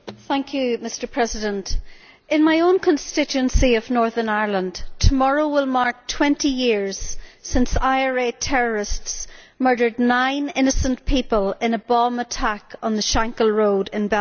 Mr President, in my own constituency of Northern Ireland, tomorrow will mark twenty years since IRA terrorists murdered nine innocent people in a bomb attack on the Shankill Road in Belfast.